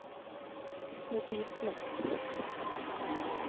notisblokk